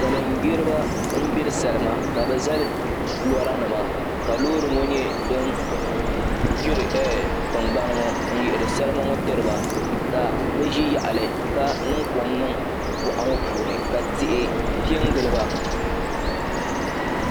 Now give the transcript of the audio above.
Salin gbiribi n gbiri salima ka bi zali lora nima ka loori ŋo nyɛ din gbiri tingbani ŋo n yihiri salima ŋo tiriba ka bi ʒi yaɣali ka niŋ kom niŋ boɣa ŋo puuni ka tihi piɛ n giliba